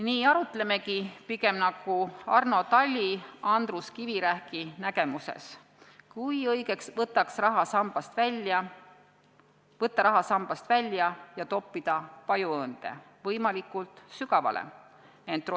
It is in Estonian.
Nii arutlemegi pigem nagu Arno Tali Andrus Kivirähki nägemuses: kui õige võtta raha sambast välja ja toppida pajuõõnde, võimalikult sügavale?